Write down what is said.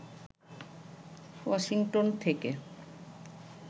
Washington থেকে